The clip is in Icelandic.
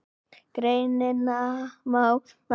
Greinina má nálgast hér